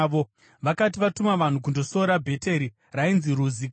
Vakati vatuma vanhu kundosora Bheteri (rainzi Ruzi kare),